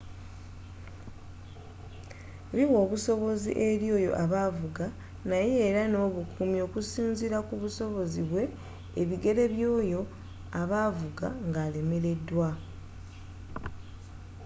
biwa obusobozi eri oyo a ba avuga naye era n'obukumi okusinzira kubusobozi bwe ebigere byoyo aba avuga nga alemereddwa